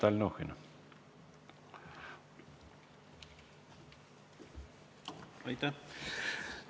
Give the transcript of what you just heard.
Aitäh!